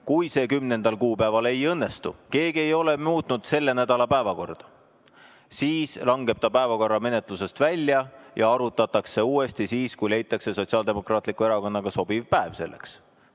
Kui see 10. kuupäeval ei õnnestu – keegi ei ole muutnud selle nädala päevakorda –, siis langeb ta päevakorra menetlusest välja ja arutatakse uuesti siis, kui leitakse Sotsiaaldemokraatliku Erakonnaga sobiv päev selleks.